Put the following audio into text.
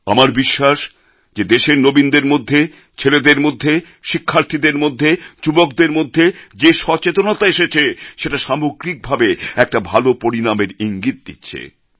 আমার বিশ্বাস যে দেশের নবীনদের মধ্যে ছেলেদের মধ্যে শিক্ষার্থীদের মধ্যে যুবকদের মধ্যে যে সচেতনতা এসেছে সেটা সামগ্রিকভাবে একটা ভালো পরিনামের ইঙ্গিত দিচ্ছে